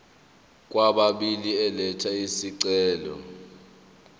kwababili elatha isicelo